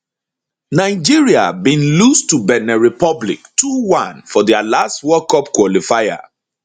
nigeria bin lose to benin republic 21 for dia last world cup qualifier